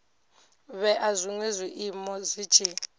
vhea zwinwe zwiiimo zwi tshi